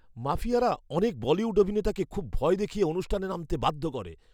মাফিয়ারা অনেক বলিউড অভিনেতাকে খুব ভয় দেখিয়ে অনুষ্ঠানে নামতে বাধ্য করে।